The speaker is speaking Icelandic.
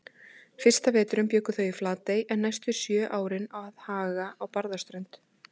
Fyrsta veturinn bjuggu þau í Flatey en næstu sjö árin að Haga á Barðaströnd.